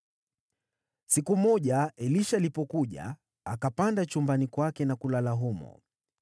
Siku moja Elisha alipofika, akapanda chumbani kwake na kulala humo.